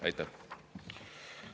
Aitäh!